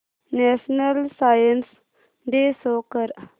national Science Day show कर